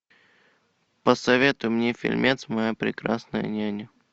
посоветуй мне фильмец моя прекрасная няня